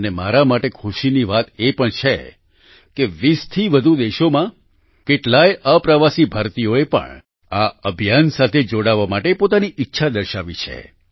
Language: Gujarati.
અને મારા માટે ખુશીની વાત એ પણ છે કે 20 થી વધુ દેશોમાં કેટલાય અપ્રવાસી ભારતીઓએ પણ આ અભિયાન સાથે જોડાવા માટે પોતાની ઈચ્છા દર્શાવી છે